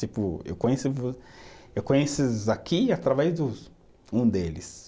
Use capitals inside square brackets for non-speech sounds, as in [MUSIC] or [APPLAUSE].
Tipo, eu conheço vo, eu conheço [UNINTELLIGIBLE] aqui através dos, um deles.